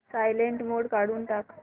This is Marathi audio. सायलेंट मोड काढून टाक